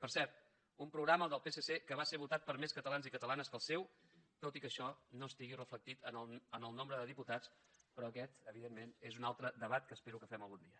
per cert un programa el del psc que va ser votat per més catalans i catalanes que el seu tot i que això no estigui reflectit en el nombre de diputats però aquest evidentment és un altre debat que espero que fem algun dia